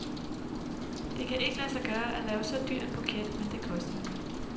Det kan ikke lade sig gøre at lave så dyr en buket, men det koster den.